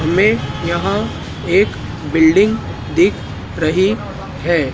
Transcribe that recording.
हमें यहां एक बिल्डिंग दिख रही हैं।